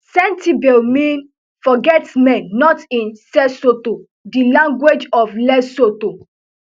sentebale mean forgetmen not in sesotho di language of lesotho